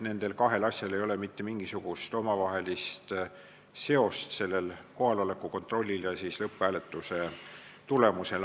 Nendel kahel asjal ei ole mitte mingisugust omavahelist seost, kohaloleku kontrollil ja lõpphääletuse tulemusel.